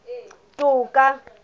toka